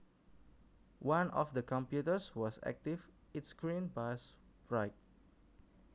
One of the computers was active its screen was bright